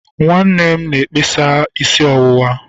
nwanne m na-eme mkpesa isi ọwụwa.